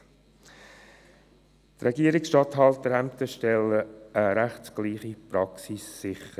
Die Regierungsstatthalterämter stellen eine rechtsgleiche Praxis sicher.